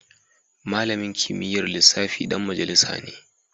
Malamin kimiyyar lissafi dan majalisa ne